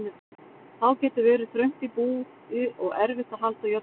Þá getur verið þröngt í búi og erfitt að halda jöfnum hita.